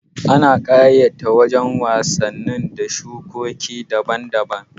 Ana ƙayata wajan wasanni da shuke-shuke daban daban